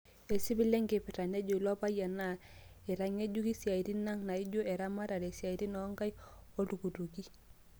Esipil enkipirta nejoo ilo payian, naa aitangejuk siatin ang naaijo eramatare, siatin oonkaiki oo nooltukituki.